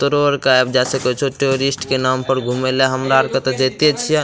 तोरो अर के आयब जाय सके छो टोरिस्ट के नाम पर घुमेला हमरा त जयेत छिए।